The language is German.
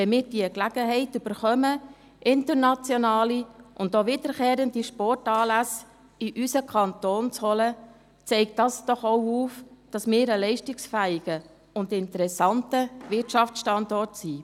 Wenn wir die Gelegenheit erhalten, internationale und auch wiederkehrende Sportanlässe in unseren Kanton zu holen, zeigt das doch auch, dass wir ein leistungsfähiger und interessanter Wirtschaftsstandort sind.